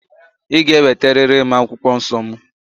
Ị ga-eweteriri m akwụkwọ nsọ mụ!